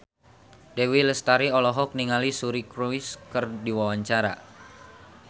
Dewi Lestari olohok ningali Suri Cruise keur diwawancara